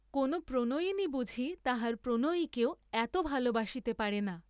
কোন প্রণয়িনী বুঝি তাহার প্রণয়ীকেও এত ভালবাসিতে পারে না।